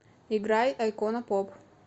играй айкона поп